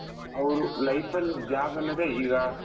ಅವರು life ಅಲ್ಲಿ job ಅನ್ನೋದೇ ಈಗ